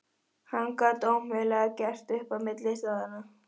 Hann gat ómögulega gert upp á milli staðanna.